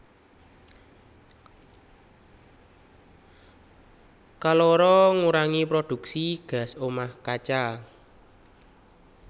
Kaloro ngurangi prodhuksi gas omah kaca